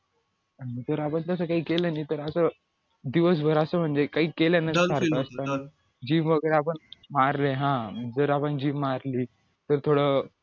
तर आपण तसं काय केलं नाही तर असं दिवसभर असं म्हणजे काही केलं gym वगैरे आपण मारले हा जर आपण gym मारली तर थोडं